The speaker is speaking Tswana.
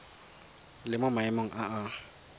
le mo maemong a a